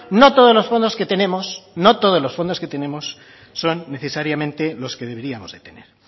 no todos los fondos que tenemos no todos los fondos que tenemos son necesariamente los que deberíamos de tener